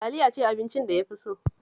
Taliya ce abincin da ya fi so